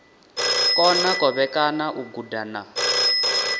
kona kovhekana u guda na